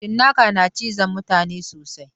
Cinnaka na cizon mutane sosai.